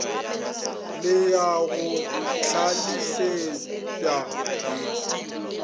le ya go hlalefetpa ye